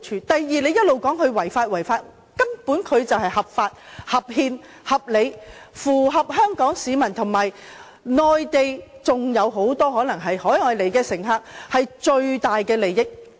第二，他們一直說"一地兩檢"違法，但根本這是合法、合憲、合理，符合香港和內地市民，還有來自海外乘客的最大利益。